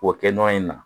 O kɛ nɔ in na